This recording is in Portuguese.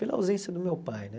Pela ausência do meu pai, né?